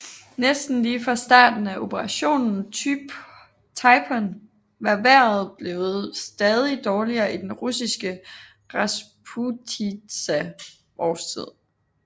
Næsten lige fra starten af Operation Typhoon var vejret blevet stadig dårligere i den russiske rasputitsa årstid